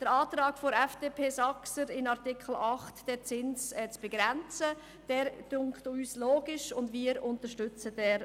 Der Antrag Saxer/FDP, in Artikel 8 den Zins zu begrenzen, erscheint uns nachvollziehbar.